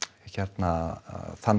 hérna þann